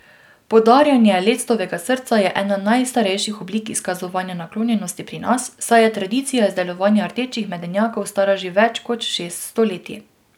Podarjanje lectovega srca je ena najstarejših oblik izkazovanja naklonjenosti pri nas, saj je tradicija izdelovanja rdečih medenjakov stara že več kot šest stoletij.